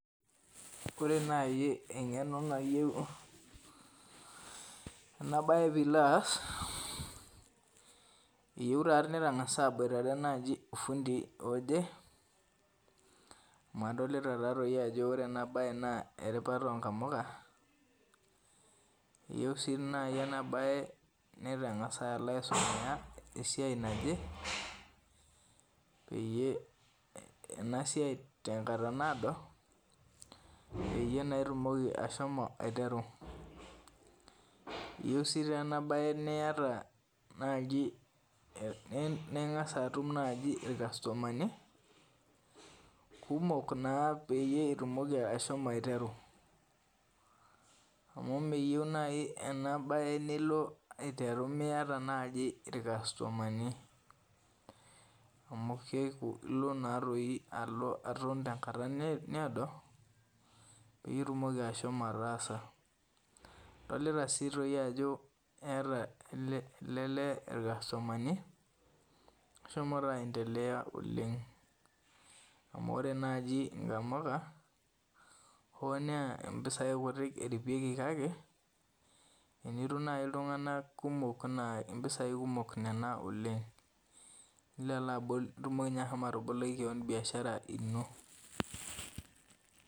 Ore nai eng'eno nayieu enabae pilo aas, eyieu ta nitang'asa naboitare naji ofundi oje, amu adolita tatoi ajo ore enabae naa eripata onkamuka, eyieu si nai enabae nitang'asa alo aisimia esiai naje, peyie enasiai tenkata naado, peyie naa itumoki ashomo aiteru. Eyieu si tenabae niata naji ning'asa atum naji irkastomani, kumok naa peyie itumoki ashomo aiteru. Amu meyieu nai enabae nilo aiteru miata naji irkastomani. Amu kelu ilo natoi alo aton tenkata needo, pitumoki ashomo ataasa. Adolita si toi ajo eeta ele lee irkastomani, eshomo taa aendelea oleng. Amu ore naji nkamuka, hoo naa impisai kutik eripieki kake, enitum nai iltung'anak kumok naa impisai kumok nena oleng. Nilo alo abul itumoki enye ashomo ataboloki keon biashara ino.